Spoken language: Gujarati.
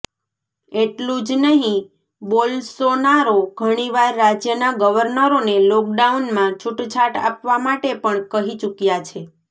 એટલું જ નહિ બોલ્સોનારો ઘણીવાર રાજ્યના ગવર્નરોને લોકડાઉનમાં છૂટછાટ આપવા માટે પણ કહી ચુક્યા છે